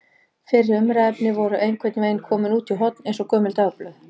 Fyrri umræðuefni voru einhvern veginn komin út í horn eins og gömul dagblöð.